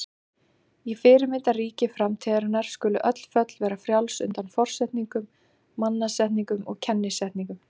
Í fyrirmyndarríki framtíðarinnar skulu öll föll vera frjáls undan forsetningum, mannasetningum og kennisetningum.